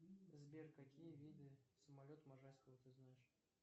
сбер какие виды самолет можайского ты знаешь